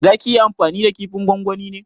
Za ki yi amfani da kifin gongoni ne?